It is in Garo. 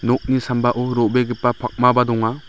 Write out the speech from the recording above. nokni sambao ro·begipa pakmaba donga.